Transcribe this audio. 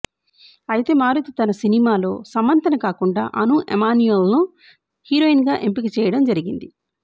అయితే మారుతి తన సినిమాలో సమంతను కాకుండా అను ఎమాన్యూల్ను హీరోయిన్గా ఎంపిక చేయడం జరిగింది